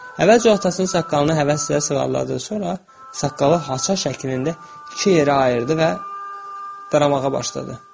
Əvvəlcə atasının saqqalını həvəslə sığalladı, sonra saqqalı xaça şəklində iki yerə ayırdı və daramağa başladı.